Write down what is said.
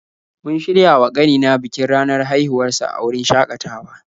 Mun shirya wa ƙanina bikin ranar haihuwar sa a wurin shakatawa.